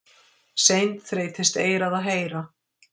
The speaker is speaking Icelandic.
Seint þreytist eyrað að heyra.